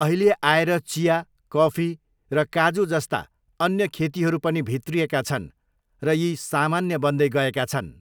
अहिले आएर चिया, कफी र काजु जस्ता अन्य खेतीहरू पनि भित्रिएका छन् र यी सामान्य बन्दै गएका छन्।